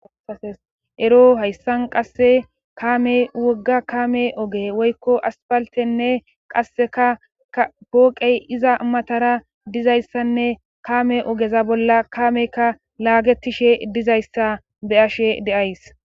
Aasesero hayssan qasse kamey wogga kame oge woykko aspaltenne qasseka pooqey iza matara dizayssanne kaame ogeza bolla kaameyka laagetishe dizayssa be ashe deays.